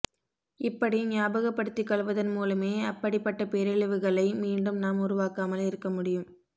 இப்படி ஞாபகப்படுத்திக் கொள்வதன் மூலமே அப்படிப்பட்ட பேரழிவுகளை மீண்டும் நாம் உருவாக்காமல் இருக்க முடியும்